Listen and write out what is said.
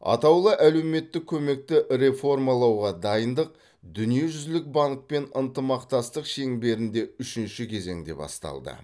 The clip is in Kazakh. атаулы әлеуметтік көмекті реформалауға дайындық дүниежүзілік банкпен ынтымақтастық шеңберінде үшінші кезеңде басталды